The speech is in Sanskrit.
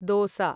दोसा